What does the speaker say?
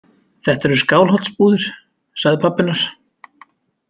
Þetta eru Skálholtsbúðir, sagði pabbi hennar.